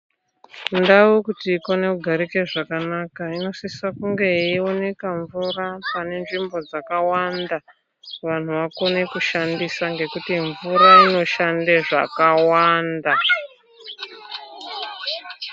Ndau kuti ikone kugarika zvakanaka inosisa kunga yeioneka mvura munzvimbo dzakawanda vanhu vakone kushandisa ngekuti mvura inoshande zvakawanda.